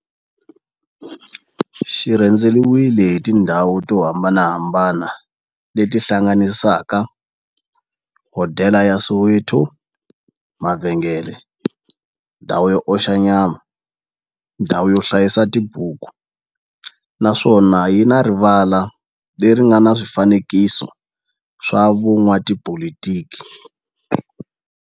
Xi rhendzeriwile hi tindhawu to hambanahambana le ti hlanganisaka, hodela ya Soweto, mavhengele, ndhawu yo oxa nyama, ndhawu yo hlayisa tibuku, naswona yi na rivala le ri nga na swifanekiso swa vo n'watipolitiki.